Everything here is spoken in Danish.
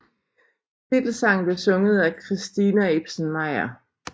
Titelsangen blev sunget af Christina Ibsen Meyer